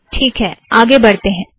ठीक है - आगे बढ़ते हैं